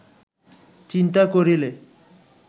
চিন্তা করিলে